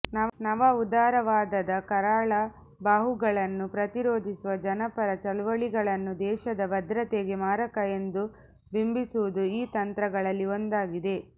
ನವ ಉದಾರವಾದದ ಕರಾಳ ಬಾಹುಗಳನ್ನು ಪ್ರತಿರೋಧಿಸುವ ಜನಪರ ಚಳವಳಿಗಳನ್ನು ದೇಶದ ಭದ್ರತೆಗೆ ಮಾರಕ ಎಂದು ಬಿಂಬಿಸುವುದು ಈ ತಂತ್ರಗಳಲ್ಲಿ ಒಂದಾಗಿದೆ